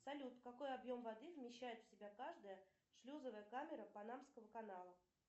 салют какой объем воды вмещает в себя каждая шлюзовая камера панамского канала